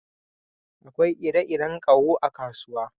Akwai ire-iren ƙaho a kasuwa